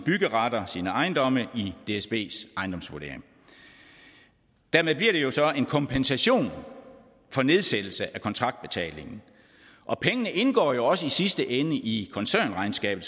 ejendomme i dsbs ejendomsvurdering dermed bliver det jo så en kompensation for nedsættelse af kontraktbetalingen og pengene indgår jo også i sidste ende i koncernregnskabet